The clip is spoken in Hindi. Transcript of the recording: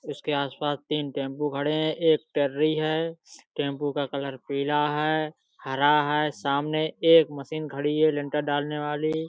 इसके आसपास तीन टेम्पो खड़े हैं। एक है। टेम्पो का कलर पीला है हरा है। सामने एक मशीन खड़ी है लिंटर डालने वाली।